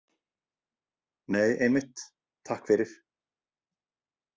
Nei, einmitt, takk fyrir.